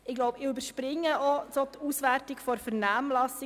Ich überspringe auch die Auswertung der Vernehmlassung.